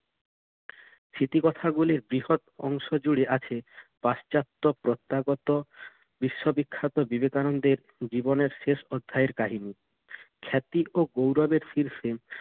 স্মৃতিকথাগুলোর বৃহৎ অংশজুড়ে আছে পাশ্চাত্য প্রত্যাগত বিশ্ববিখ্যাত বিবেকানন্দের জীবনের শেষ অধ্যায়ের কাহিনি খ্যাতি ও গৌরবের শীর্ষে